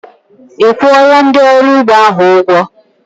Ị́ kwuọla ndị ọrụ ugbo ahụ ụgwọ?